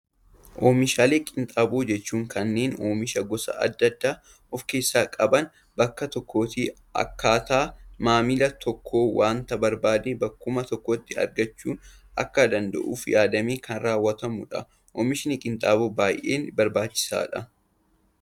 Oomishaalee qinxaaboo jechuun, kanneen oomisha gosa addaa addaa of keessaa qaban bakka tokkotti, akkaataa maamilli tokko waanta barbaade, bakkuma tokkotti argachuu akka danda'uuf yaadamee kan raawwatamudha. Oomishni qinxaaboo baayyee barbaachisaadha.